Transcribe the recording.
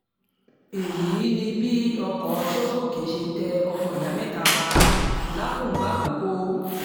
èyí ni bí ọkọ̀ songoke ṣe tẹ ọmọ ìyá mẹ́ta pa làkùngbà àkọ́kọ́